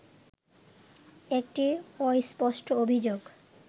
একটি অস্পষ্ট অভিযোগ